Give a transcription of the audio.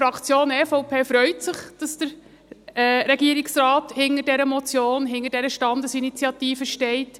Die EVP-Fraktion freut sich, dass der Regierungsrat hinter dieser Motion, hinter dieser Standesinitiative steht.